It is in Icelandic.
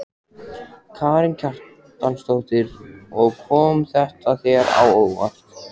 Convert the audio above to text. Karen Kjartansdóttir: Og kom þetta þér á óvart?